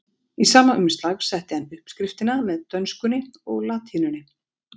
Í sama umslag setti hann uppskriftina með dönskunni og latínunni.